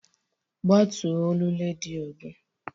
Ggbatuo olu redio gị!